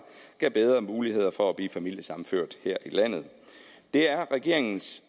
gav bedre muligheder for at blive familiesammenført her i landet det er regeringens